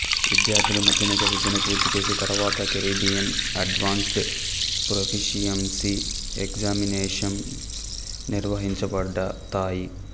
విద్యార్థులు మాద్యమిక విద్యను పూర్తిచేసిన తరువాత కరీబియన్ అడ్వాంస్డ్ ప్రొఫీషియంసీ ఎక్జామినేషంస్ నిర్వహించబడతాయి